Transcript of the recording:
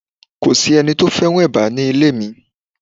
Kò s'eni tó fẹ́ràn eba ní ilé mi.